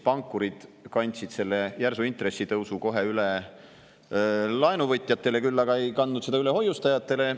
Pankurid kandsid siis selle järsu intressitõusu kohe üle laenuvõtjatele, küll aga ei kandnud seda üle hoiustajatele.